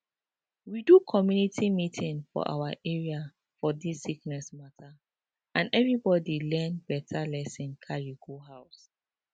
we do community meeting for awa area for dis sickness mata and everybody learn beta lesson carry go house